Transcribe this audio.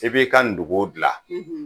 E b'i ka ndugu dilan